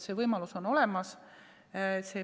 See võimalus on olemas.